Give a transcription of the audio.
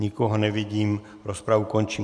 Nikoho nevidím, rozpravu končím.